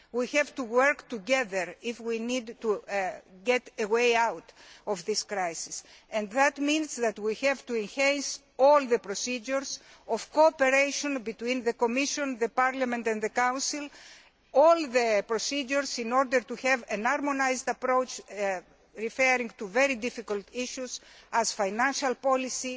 We have to work together if we are to find a way out of this crisis, and that means that we have to enhance all the procedures of cooperation between the Commission, Parliament and the Council all the procedures in order to have a harmonised approach to very difficult issues such as financial policy,